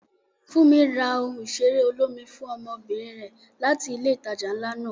Funmi ra ohun ìṣeré olómi fún ọmọbìnrin rẹ̀ láti ilé ìtajà ńlá náà.